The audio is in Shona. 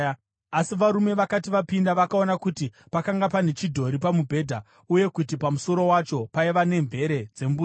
Asi varume vakati vapinda, vakaona kuti pakanga pane chidhori pamubhedha, uye kuti pamusoro wacho paiva nemvere dzembudzi.